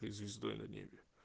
быть звездой на небе